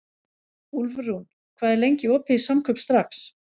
Úlfrún, hvað er lengi opið í Samkaup Strax?